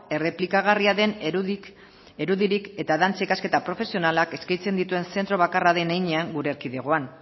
errepikagarria den eredurik eta dantza ikasketa profesionalak eskaintzen dituen zentzu bakarra den heinean gure erkidegoan